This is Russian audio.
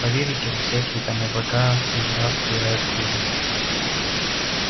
поверите во всякие там облака и дурацкую райскую жизнь